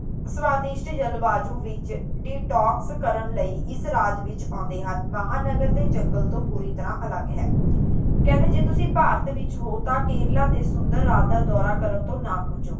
ਸੁਆਦਿਸ਼ਟ ਜਲਵਾਯੁ ਵਿੱਚ detox ਕਰਨ ਲਈ ਇਸ ਰਾਜ ਵਿੱਚ ਆਉਂਦੇ ਹਨ ਮਹਾਨਗਰ ਤੋਂ ਜੰਗਲ ਤੋਂ ਪੂਰੀ ਤਰ੍ਹਾਂ ਅਲੱਗ ਹੈ ਕਹਿੰਦੇ ਜੇ ਤੁਸੀਂ ਭਾਰਤ ਵਿੱਚ ਹੋ ਤਾਂ ਕੇਰਲਾ ਦੇ ਸੁੰਦਰ ਰਾਜ ਦਾ ਦੌਰਾ ਕਰਨ ਤੋਂ ਨਾ ਖੁੰਝੋ